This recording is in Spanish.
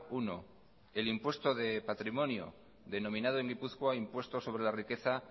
uno el impuesto de patrimonio denominado en gipuzkoa impuesto sobre la riqueza